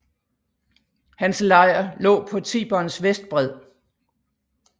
Hans lejr lå på Tiberens vestbred